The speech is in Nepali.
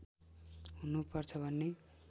हुनु पर्छ भन्ने